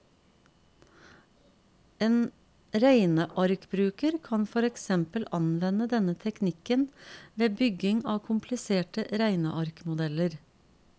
En regnearkbruker kan for eksempel anvende denne teknikken ved bygging av kompliserte regnearkmodeller.